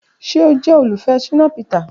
Ṣe o jẹ olufẹ Shina Peter?